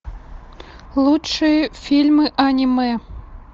лучшие фильмы аниме